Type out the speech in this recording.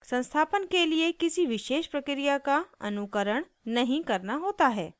संस्थापन के लिए किसी विशेष प्रक्रिया का अनुकरण नहीं करना होता है